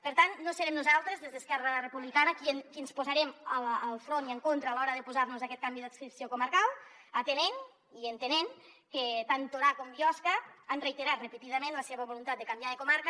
per tant no serem nosaltres des d’esquerra republicana qui ens posarem al davant i en contra a l’hora d’oposar nos a aquest canvi d’adscripció comarcal atenent i entenent que tant torà com biosca han reiterat repetidament la seva voluntat de canviar de comarca